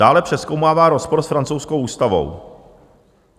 Dále přezkoumává rozpor s francouzskou ústavou.